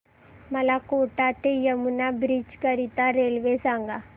मला कोटा ते यमुना ब्रिज करीता रेल्वे सांगा